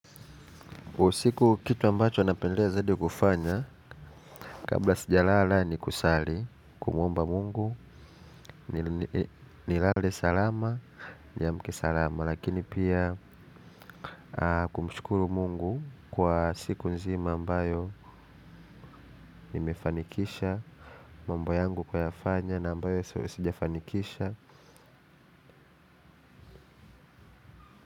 Usiku kitu ambacho napendelea zaidi kufanya kabla sijalala ni kusali kumuomba mungu nilale salama, niamke salama lakini pia kumshukuru mungu kwa siku nzima ambayo nimefanikisha mambo yangu, kuyafanya na ambayo sijafanikisha.